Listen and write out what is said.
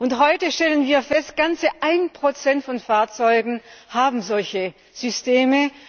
Und heute stellen wir fest, ganze 1 von Fahrzeugen haben solche Systeme.